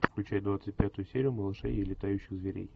включай двадцать пятую серию малышей и летающих зверей